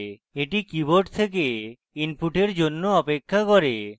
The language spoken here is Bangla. এটি keyboard থেকে input জন্য অপেক্ষা করে